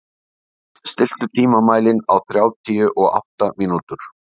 Ernst, stilltu tímamælinn á þrjátíu og átta mínútur.